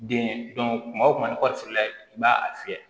Den kuma o kuma ni kɔɔri la i b'a fiyɛ